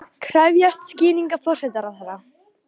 Krefjast skýringa forsætisráðherra